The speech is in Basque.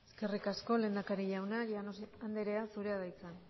eskerrik asko lehendakari jauna llanos anderea zurea da hitza